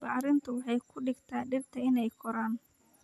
Bacrintu waxay ka dhigtaa dhirta inay koraan